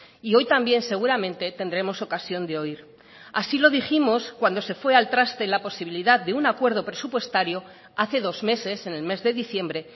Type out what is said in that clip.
y hoy también seguramente tendremos ocasión de oír así lo dijimos cuando se fue al traste la posibilidad de un acuerdo presupuestario hace dos meses en el mes de diciembre